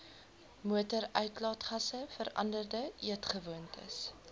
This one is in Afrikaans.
motoruitlaatgasse veranderde eetgewoontes